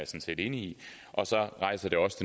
set enig i og så rejser det også